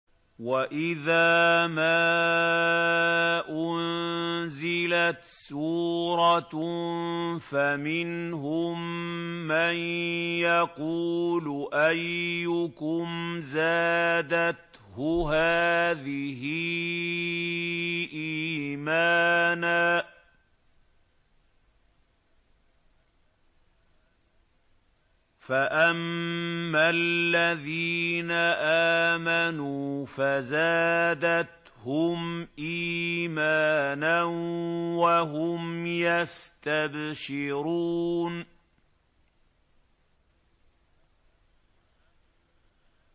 وَإِذَا مَا أُنزِلَتْ سُورَةٌ فَمِنْهُم مَّن يَقُولُ أَيُّكُمْ زَادَتْهُ هَٰذِهِ إِيمَانًا ۚ فَأَمَّا الَّذِينَ آمَنُوا فَزَادَتْهُمْ إِيمَانًا وَهُمْ يَسْتَبْشِرُونَ